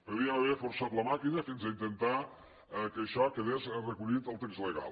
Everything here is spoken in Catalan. podíem haver forçat la màquina fins a intentar que això quedés recollit en el text legal